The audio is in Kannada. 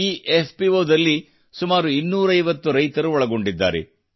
ಈ ಎಫ್ಪಿಒ ದಲ್ಲಿ ಸುಮಾರು 250 ರೈತರು ಒಳಗೊಂಡಿದ್ದಾರೆ